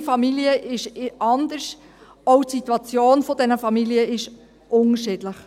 Jede Familie ist anders, auch die Situation dieser Familien ist unterschiedlich.